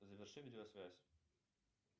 заверши видеосвязь